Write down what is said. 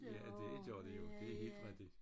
Ja det gør de jo det er helt rigtigt